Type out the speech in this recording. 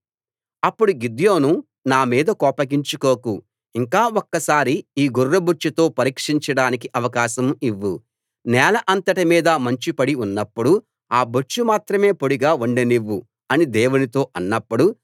అప్పుడు గిద్యోను నా మీద కోపగించుకోకు ఇంక ఒక్కసారి ఈ గొర్రెబొచ్చుతో పరీక్షించడానికి అవకాశం ఇవ్వు నేల అంతటి మీద మంచు పడి ఉన్నప్పుడు ఆ బొచ్చు మాత్రమే పొడిగా ఉండనివ్వు అని దేవునితో అన్నప్పుడు